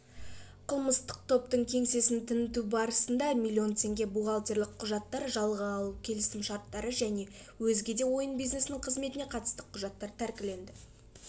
қылмыстық топтың кеңсесін тінту барысында миллион теңге бухгалтерлік құжаттар жалға алу келісім-шарттары және өзгеде ойын бизнесінің қызметіне қатысты құжаттар тәркіленді